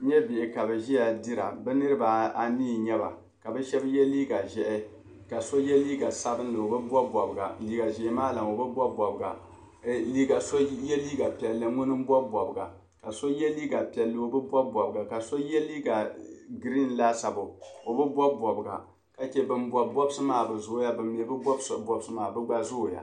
N nyɛ bihi ka bi ʒiya dira bɛ niribi anii n nyɛba la bishabi ye liiga ʒɛhi ka so ye liiga sabinli kabi bɔbi bɔbga ka so ye liiga piɛli ŋun ni n bɔbiga, ka so ye liiga piɛli ka bi bɔbi bɔbga kaso ye liiga green laasabu ɔ bi bɔbi bɔbga ka che ban bɔbi bɔbsi maa bi zooya ban bi bɔbi bɔbsi bɛ maa bɛ gba zooya,